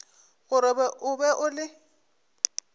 gore o be o le